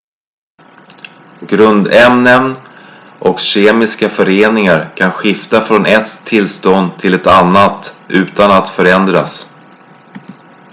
grundämnen och kemiska föreningar kan skifta från ett tillstånd till ett annat utan att förändras